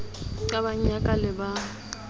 qabang ya ka le ba